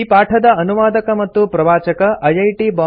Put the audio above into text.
ಈ ಪಾಠದ ಅನುವಾದಕ ಮತ್ತು ಪ್ರವಾಚಕ ಐಐಟಿ